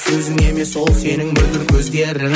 сөзің емес ол сенің мөлдір көздерің